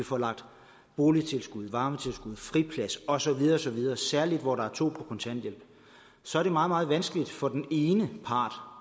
får lagt boligtilskud varmetilskud friplads og så videre og så videre oveni særlig hvor der er to på kontanthjælp så er det meget meget vanskeligt for den ene part